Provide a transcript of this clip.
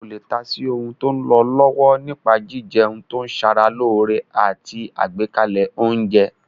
O lè ta sí ohun tó lọ lọ́wọ́ nípa jíjẹun tó ṣe ara lóore àti àgbékalẹ̀ oúnjẹ